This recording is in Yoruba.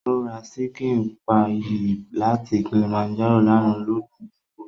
Ó ra ṣíkìn páyì láti Kilimanjaro lánàá ládùn púpọ̀